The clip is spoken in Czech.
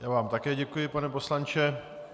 Já vám také děkuji, pane poslanče.